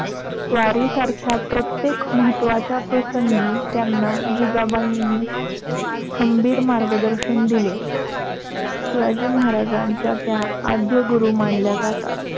स्वारीसारख्या प्रत्येक महात्वाच्या प्रसंगी त्यांना जिजाबाई खंभीर मार्गदर्शन दिले. शिवाजी महाराजांच्या त्या आद्यगुरु मानल्या जातात.